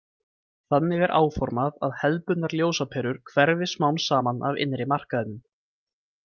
Þannig er áformað að hefðbundnar ljósaperur hverfi smám saman af innri markaðinum.